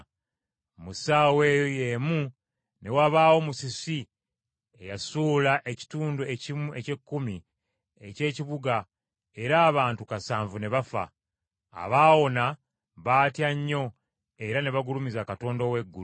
Mu ssaawa eyo y’emu ne wabaawo musisi eyasuula ekitundu ekimu eky’ekkumi eky’ekibuga, era abantu kasanvu ne bafa. Abaawona baatya nnyo era ne bagulumiza Katonda ow’eggulu.